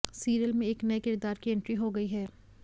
serial में एक नए किरदार की एंट्री हो गई है